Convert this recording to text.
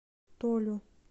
толю